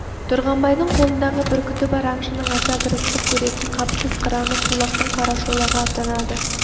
тұрғанбайдың қолындағы бүркіті бар аңшының аса бір ыстық көретін қапысыз қыраны тулақтың қарашолағы атанады